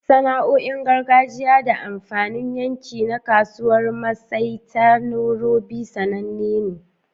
Sana'o'in gargajiya da amfanin yanki na Kasuwar Maasai ta Nairobi sananne ne.